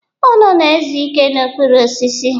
Unu na-ezu ike n'okpuru osisi.